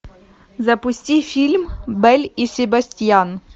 запусти фильм белль и себастьян